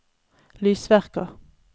lysverker